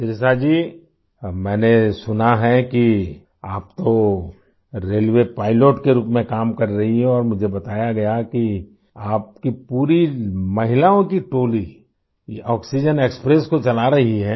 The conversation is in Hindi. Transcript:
शिरिषा जी मैंने सुना है कि आप तो रेलवे पाइलट के रूप में काम कर रही हो और मुझे बताया गया कि आपकी पूरी महिलाओं की टोली ये आक्सीजेन एक्सप्रेस को चला रही है